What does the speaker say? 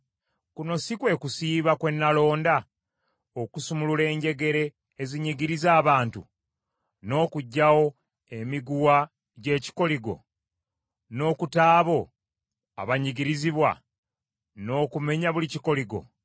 Kuno kwe kusiiba kwe nalonda; okusumulula enjegere ezinyigiriza abantu, n’okuggyawo emiguwa gy’ekikoligo, n’okuta abo abanyigirizibwa, n’okumenya buli kikoligo?